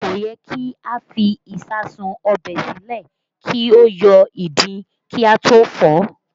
Kò yẹ kí a fi ìsáàsùn ọbẹ̀ sílẹ̀ kí ó yọ ìdin kí a tó fọ̀ ọ́